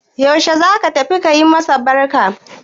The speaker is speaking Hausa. Yaushe za ka tafi ka yi masu barka?